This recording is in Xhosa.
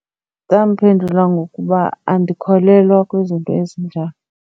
Ndamphendula ngokuba andikholelwa kwizinto ezinjalo.